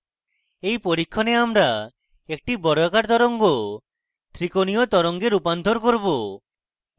in পরীক্ষণে আমরা একটি বর্গাকার তরঙ্গ ত্রিকোণীয় তরঙ্গে রূপান্তর করব